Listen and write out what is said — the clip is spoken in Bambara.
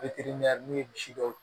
n'u ye misi dɔw